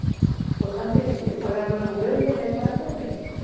O importante é pagar um aluguel e ter para comer, né?